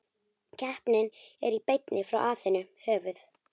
Keppnin er í beinni frá Aþenu, höfuð